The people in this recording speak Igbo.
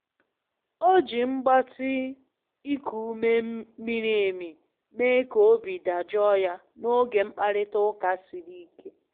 O ji mgbatị iku ume miri emi mee ka obi dajụọ ya n'oge mkparịta ụka siri ike.